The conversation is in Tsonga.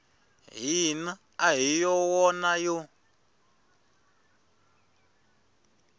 hina a hi wona yo